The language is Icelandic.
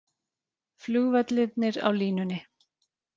Flugvellirnir á línunni